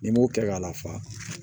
Ni n m'o kɛ ka lafa